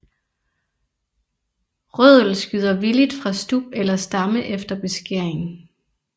Rødel skyder villigt fra stub eller stamme efter beskæring